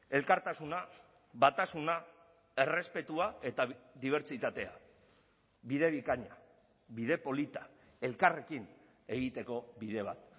elkartasuna batasuna errespetua eta dibertsitatea bide bikaina bide polita elkarrekin egiteko bide bat